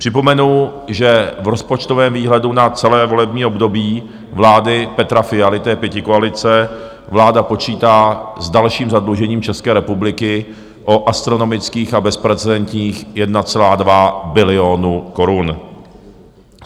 Připomenu, že v rozpočtovém výhledu na celé volební období vlády Petra Fialy, té pětikoalice, vláda počítá s dalším zadlužením České republiky o astronomických a bezprecedentních 1,2 bilionu korun.